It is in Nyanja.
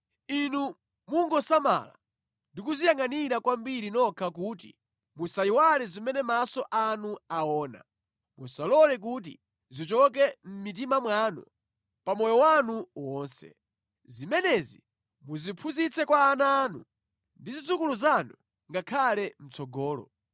Inu mungosamala ndi kudziyangʼanira kwambiri nokha kuti musayiwale zimene maso anu aona. Musalole kuti zichoke mʼmitima mwanu pa moyo wanu wonse. Zimenezi muziphunzitse kwa ana anu ndi zidzukulu zanu ngakhale mʼtsogolo.